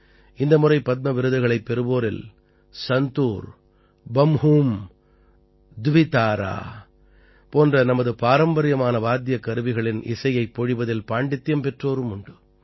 இந்த முறை பத்ம விருதுகளைப் பெறுவோரில் சந்தூர் பம்ஹும் த்விதாரா போன்ற நமது பாரம்பரியமான வாத்தியக் கருவிகளின் இசையைப் பொழிவதில் பாண்டித்தியம் பெற்றோரும் உண்டு